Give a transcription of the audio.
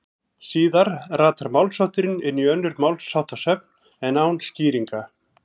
Síðar ratar málshátturinn inn í önnur málsháttasöfn en án skýringa.